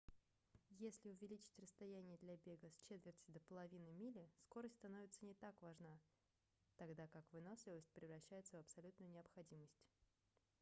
если увеличить расстояние для бега с четверти до половины мили скорость становится не так важна тогда как выносливость превращается в абсолютную необходимость